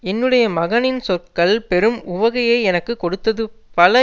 என்னுடைய மகனின் சொற்கள் பெரும் உவகையை எனக்கு கொடுத்தது பல